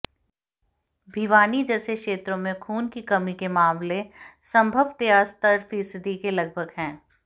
भिवानी जैसे क्षेत्रों में खून की कमी के मामले संभवतया सत्तर फीसदी के लगभग हैं